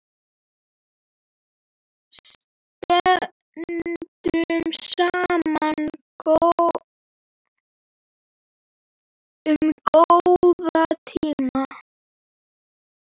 Stöndum saman um góða tíma.